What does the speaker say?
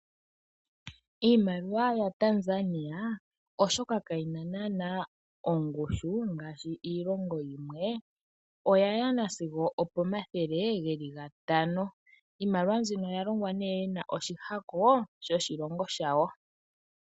Iimaliwa ya Tanzania oshoka kayina nana ongushu ngashi iilonga yimwe oya nasigo okomathele ngeli ngatano, iimaliwa mbyino oya longwa ne yina oshihako shoshilongo shawo.